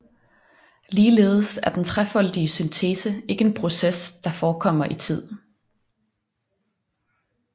Ligeledes er den trefoldige syntese ikke en proces der forekommer i tid